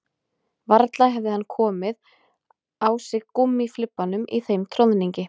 Varla hefði hann komið á sig gúmmíflibbanum í þeim troðningi